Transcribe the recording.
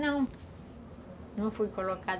Não, não foi colocada.